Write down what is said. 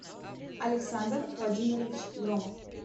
александр владимирович громов